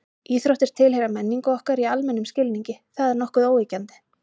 Íþróttir tilheyra menningu okkar í almennum skilningi, það er nokkuð óyggjandi.